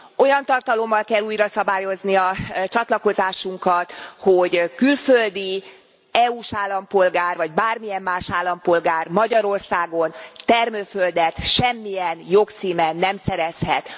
Olyan tartalommal kell újraszabályozni a csatlakozásunkat, hogy külföldi EU s állampolgár vagy bármilyen más állampolgár Magyarországon termőföldet semmilyen jogcímen nem szerezhet.